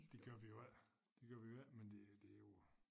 Det gør vi jo ik det gør vi jo ik men det det jo